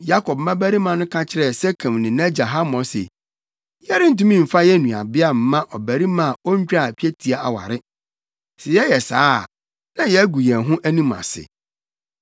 Yakob mmabarima no ka kyerɛɛ Sekem ne nʼagya Hamor se, “Yɛrentumi mfa yɛn nuabea mma ɔbarima a ontwaa twetia aware. Sɛ yɛyɛ saa a, na yɛagu yɛn ho anim ase.